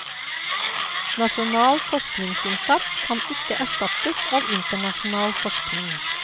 Nasjonal forskningsinnsats kan ikke erstattes av internasjonal forskning.